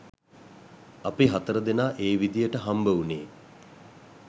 අපි හතර දෙනා ඒ විදිහට හම්බ වුණේ